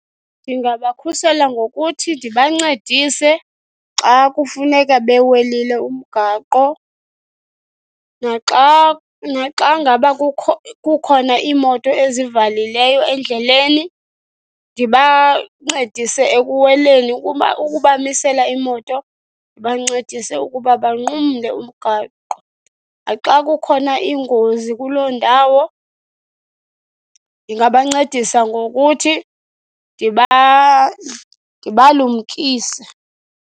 Ndingabakhusela ngokuthi ndibancedise xa kufuneka bewelile umgaqo. Naxa naxa ngaba kukho kukhona iimoto ezivalileyo endleleni, ndibancedise ekuweleni ukubamisela imoto ndibancedise ukuba banqumle umgaqo. Naxa kukhona ingozi kuloo ndawo ndingabancedisa ngokuthi ndibalumkise.